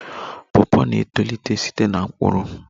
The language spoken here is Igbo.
Pawpaw na-etolite site na mkpụrụ